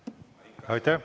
Aitäh!